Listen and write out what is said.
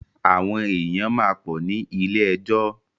Àwọn èyàn máa pọ̀ ní ilé ẹjọ́.